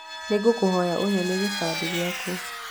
Nĩ ngũkũhoya ũnyonie kĩbande gĩaku